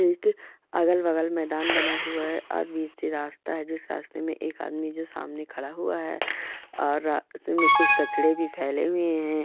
एक अगल-बगल मैदान बना हुआ है और बीच से रास्ता जिस रास्ते में एक आदमी जो सामने खड़ा हुआ है और रास्ते में कुछ कचड़े भी फैले हुए हैं।